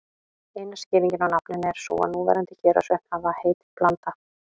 Eina skýringin á nafninu er sú að núverandi Héraðsvötn hafi heitið Blanda.